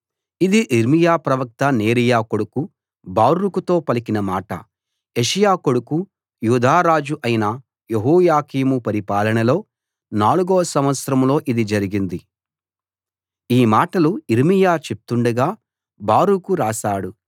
ఇది యిర్మీయా ప్రవక్త నేరీయా కొడుకు బారూకుతో పలికిన మాట యోషీయా కొడుకూ యూదా రాజూ అయిన యెహోయాకీము పరిపాలనలో నాలుగో సంవత్సరంలో ఇది జరిగింది ఈ మాటలు యిర్మీయా చెప్తుండగా బారూకు రాశాడు